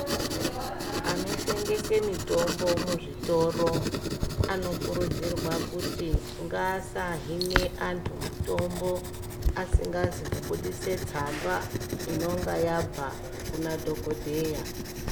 Anotengesa mitombo muzvitoro anokurudzirwa kuti ngasahinwabantu mitombo asingazi kubudisa tsamba inonga yabva Kumadhokodheya.